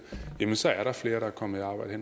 så er der flere der er kommet i arbejde